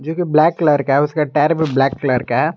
Black colour का है उसका टायर भी ब्लैक कलर का हैं।